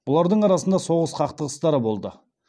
бұлардың арасында соғыс қақтығыстары болды